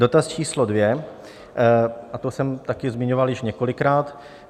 Dotaz číslo dvě - a to jsem taky zmiňoval již několikrát.